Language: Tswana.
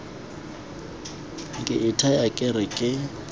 ke ithaya ke re ke